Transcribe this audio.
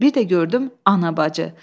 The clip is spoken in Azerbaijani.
Bir də gördüm anabacı.